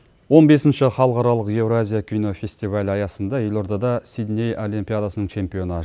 он бесінші халықаралық еуразия кинофестивалі аясында елордада сидней олимпиадасының чемпионы